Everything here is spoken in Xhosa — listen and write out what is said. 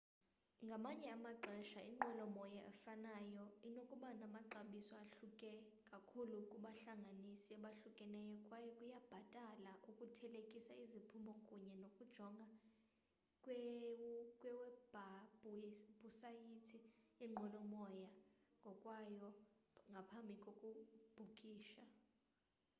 ngamanye amaxesha inqwelomoya efanayo inokuba namaxabiso ahluke kakhulu kubahlanganisi abahlukeneyo kwaye kuyabhatala ukuthelekisa iziphumo kunye nokujonga kwiwebhusayithi yenqwelomoya ngokwayo ngaphambi kokubhukisha